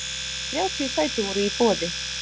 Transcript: Þrjátíu sæti voru í boði.